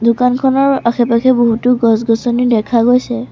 দোকানখনৰ আশে পাশে বহুতো গছ-গছনি দেখা গৈছে।